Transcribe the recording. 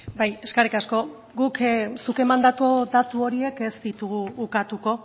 bai eskerrik asko guk zuk emandako datu horiek ez ditugu ukatuko